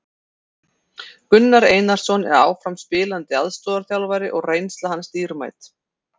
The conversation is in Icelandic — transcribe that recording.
Gunnar Einarsson er áfram spilandi aðstoðarþjálfari og reynsla hans dýrmæt.